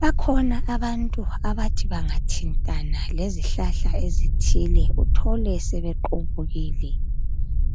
bakhona abantu abathi bangathintana lezihlahla ezithile uthole sebequbukile